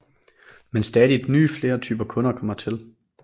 Men stadigt flere nye typer kunder kommer til